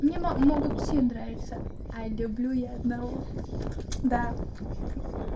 могут все нравится а люблю я одного да